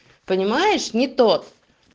понимаешь не то